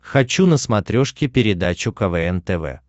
хочу на смотрешке передачу квн тв